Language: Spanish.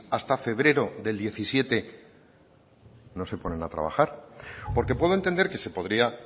hasta febrero de dos mil diecisiete no se ponen a trabajar porque puedo entender que se podría